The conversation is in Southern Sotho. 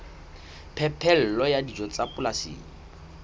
phepelo ya dijo tsa polasing